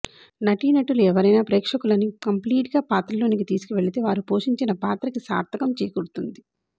నటీనటులు ఎవరైన ప్రేక్షకులని కంప్లీట్గా పాత్రలోకి తీసుకెళితే వారు పోషించిన పాత్రకి సార్ధకం చేకూరుతుంది